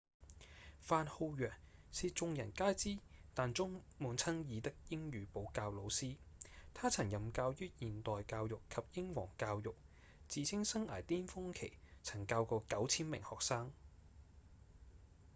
范浩揚是眾人皆知但充滿爭議的英語補教老師他曾任教於現代教育及英皇教育自稱生涯顛峰期曾教過 9,000 名學生